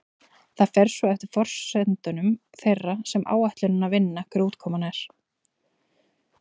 Það fer svo eftir forsendum þeirra sem áætlunina vinna hver útkoman er.